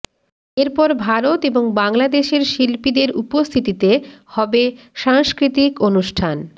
এরপর ভারত এবং বাংলাদেশের শিল্পীদের উপস্থিতিতে হবে সাংস্কৃতিক অনুষ্ঠান